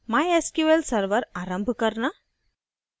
mysql server आरंभ करना